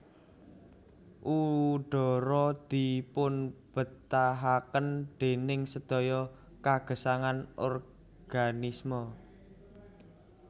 Udhara dipunbetahaken déning sedaya kagesangan organisme